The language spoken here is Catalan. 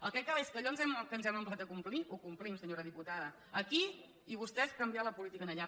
el que cal és que allò que ens hem emplaçat a complir ho complim senyora diputada aquí i vostès canviar la política allà